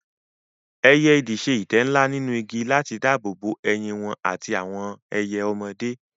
Ẹyẹ idì ṣe ìtẹ́ ńlá nínú igi láti dáàbò bo ẹyin wọn àti àwọn ẹyẹ ọmọdé.